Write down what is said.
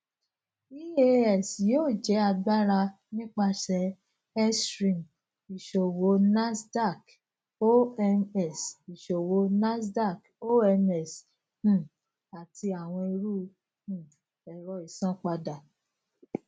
eax yoo jẹ agbara nipasẹ xstream iṣowo nasdaq omx iṣowo nasdaq omx um ati awọn iru um ẹrọ isanpada